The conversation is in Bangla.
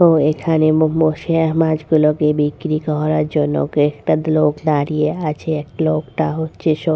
ও এখানে বসে আর মাছগুলোকে বিক্রি করার জন্য একটা লোক দাঁড়িয়ে আছে লোকটা হচ্ছে স--